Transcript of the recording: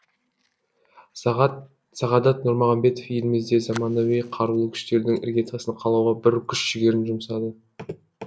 сағадат нұрмағамбетов елімізде заманауи қарулы күштердің іргетасын қалауға бір күш жігерін жұмсады